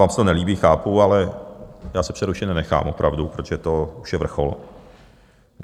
Vám se to nelíbí, chápu, ale já se přerušit nenechám, opravdu, protože to už je vrchol.